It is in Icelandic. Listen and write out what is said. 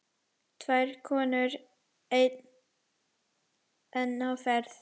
Tvær konur enn á ferð.